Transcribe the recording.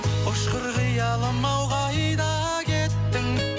ұшқыр қиялым ау қайда кеттің